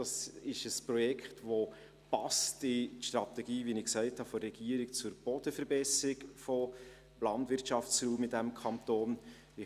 Es ist ein Projekt, das in die Strategie der Regierung zur Bodenverbesserung des Landwirtschaftsraums in diesem Kanton passt.